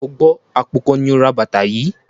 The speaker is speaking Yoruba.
O gbọ́ àpò kan ni ó ra bàtà yìí?